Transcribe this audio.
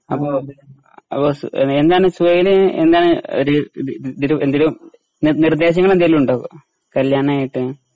അപ്പൊ അപ്പൊ സു എന്നാണ് സുഹൈല് എന്നാണ് ഒര് ഇത് തില് എന്തേലും നിർ നിർദ്ദേശങ്ങളെന്തെലുണ്ടോ കല്ല്യാണായിട്ട്?